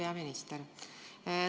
Hea peaminister!